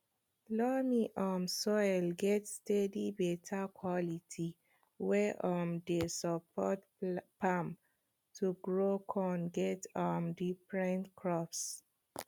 loamy um soil get steady beta quality wey um dey support farm to grow con get um different crops